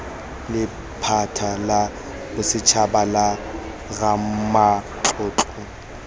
lephata la bosetshaba la ramatlotlo